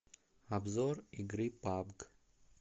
обзор игры пабг